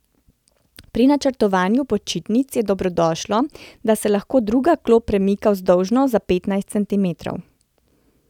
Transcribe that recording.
Pri načrtovanju počitnic je dobrodošlo, da se lahko druga klop premika vzdolžno za petnajst centimetrov.